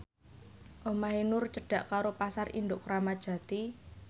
omahe Nur cedhak karo Pasar Induk Kramat Jati